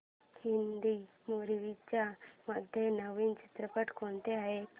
Hindi movies मध्ये नवीन चित्रपट कोणते आहेत